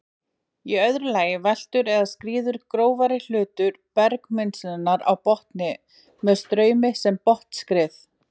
Í öðru lagi veltur eða skríður grófari hluti bergmylsnunnar á botni með straumi sem botnskrið.